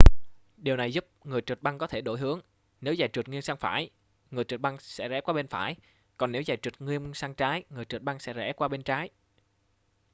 điều này giúp người trượt băng có thể đổi hướng nếu giày trượt nghiêng sang phải người trượt băng sẽ rẽ qua bên phải còn nếu giày trượt nghiêng sang trái người trượt băng sẽ rẽ qua bên trái